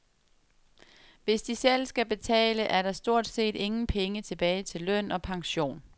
Hvis de selv skal betale, er der stort set ingen penge tilbage til løn og pension.